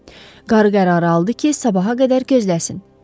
Qarı qərarı aldı ki, sabaha qədər gözləsin.